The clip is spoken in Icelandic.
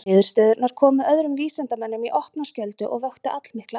Niðurstöðurnar komu öðrum vísindamönnum í opna skjöldu og vöktu allmikla athygli.